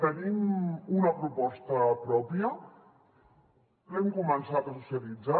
tenim una proposta pròpia l’hem començat a socialitzar